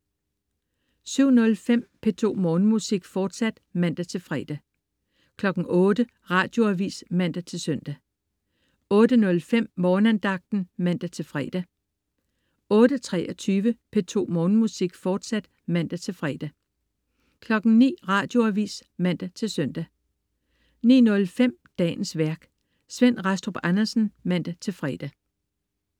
07.05 P2 Morgenmusik, fortsat (man-fre) 08.00 Radioavis (man-søn) 08.05 Morgenandagten (man-fre) 08.23 P2 Morgenmusik, fortsat (man-fre) 09.00 Radioavis (man-søn) 09.05 Dagens værk. Svend Rastrup Andersen (man-fre)